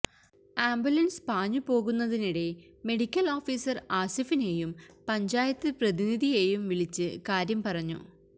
ambulance പാഞ്ഞു പോകുന്നതിനിടെ medical officer ആസിഫിനെയും പഞ്ചായത്ത് പ്രതിനിധിയെയും വിളിച്ചു കാര്യം പറഞ്ഞു